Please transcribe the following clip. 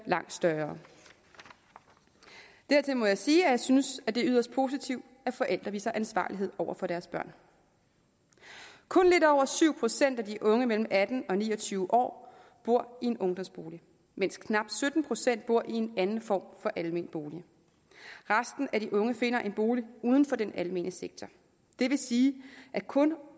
langt større dertil må jeg sige at jeg synes det er yderst positivt at forældre viser ansvarlighed over for deres børn kun lidt over syv procent af de unge mellem atten og ni og tyve år bor i en ungdomsbolig mens knap sytten procent bor i en anden form for almen bolig resten af de unge finder en bolig uden for den almene sektor det vil sige at kun